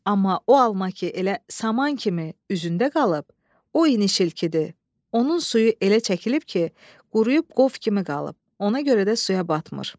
Amma o alma ki, elə saman kimi üzündə qalıb, o inişilkidir, onun suyu elə çəkilib ki, quruyub qov kimi qalıb, ona görə də suya batmır.